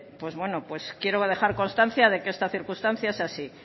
pues bueno pues quiero dejar constancia de que esta circunstancia es así